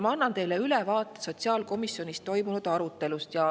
Annan teile ülevaate sotsiaalkomisjonis toimunud arutelust.